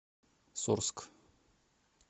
сорск